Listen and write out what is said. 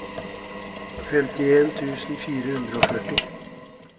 femtien tusen fire hundre og førti